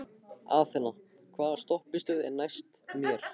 Athena, hvaða stoppistöð er næst mér?